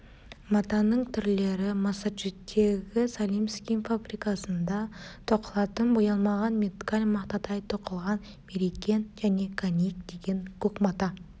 матаның түрлері массачузеттегі салемскин фабрикасында тоқылатын боялмаған меткаль мақтадай тоқылған мерикен және каник деген көк мата